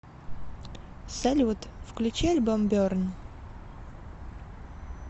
салют включи альбом берн